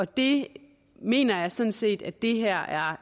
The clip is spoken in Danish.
det mener jeg sådan set at det her er